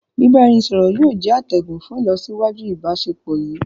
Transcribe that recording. Bìbáraẹnisọọ̀rọ̀ yìí ó jẹ̀ àtẹ̀gùn fún ilosiwaju íbàsepọ̀ yí.